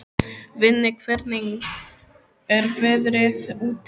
Vinni, hvernig er veðrið úti?